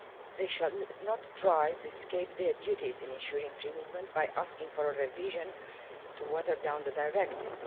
They should not try to escape their duties in ensuring free movement by asking for a revision to water down the Directive.